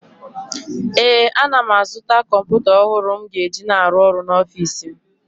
ee, ana m azụta kọmpụta ọhụrụ m ga-eji na-arụ ọrụ n’ọfịs m